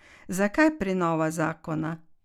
Zakaj prenova zakona?